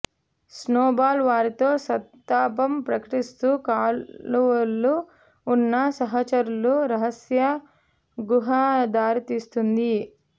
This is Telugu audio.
స్నోబాల్ వారితో సంతాపం ప్రకటిస్తూ కాలువలు ఉన్న సహచరులు రహస్య గుహ దారితీస్తుంది